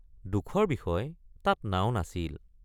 দুখৰ বিষয় তাত নাও নাছিল।